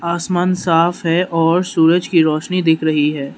आसमान साफ है और सूरज की रोशनी दिख रही है।